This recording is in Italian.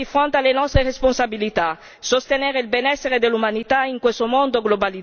Sostenere il benessere dell'umanità in questo mondo globalizzato è nell'interesse di noi tutti.